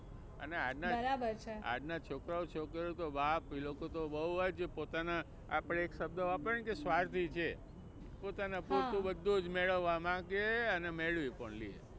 બરાબર છે અને આજના છોકરા છોકરીઓ તો બાપ એ લોકો તો બહુ જ પોતાના આપણે એક શબ્દ વાપરીએ ને કે સ્વાર્થી છે. પોતાના પૂરતું બધુ જ મેળવવા માંગે અને મેળવી પણ લે.